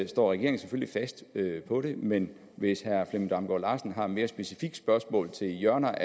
står regeringen selvfølgelig fast på det men hvis herre flemming damgaard larsen har et mere specifikt spørgsmål til hjørner